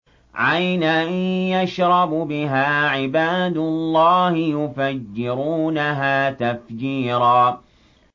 عَيْنًا يَشْرَبُ بِهَا عِبَادُ اللَّهِ يُفَجِّرُونَهَا تَفْجِيرًا